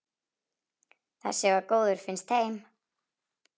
Þessi var góður, finnst þeim.